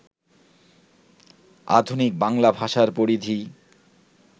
আধুনিক বাংলা ভাষার পরিধি